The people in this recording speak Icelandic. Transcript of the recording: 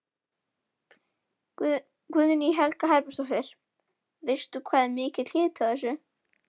Guðný Helga Herbertsdóttir: Veistu hvað er mikill hiti á þessu?